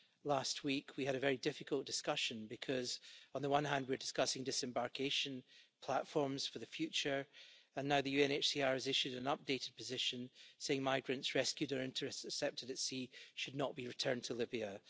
Last week we had a very difficult discussion, because on the one hand, we're discussing disembarkation platforms for the future, and now the UNHCR has issued an updated position saying migrants rescued or intercepted at sea should not be returned to Libya.